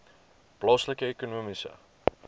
plaaslike ekonomiese